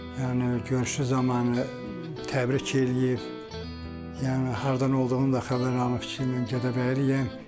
Yəni görüşü zamanı təbrik eləyib, yəni hardan olduğunu da xəbər alıb ki, mən Gədəbəyliyəm.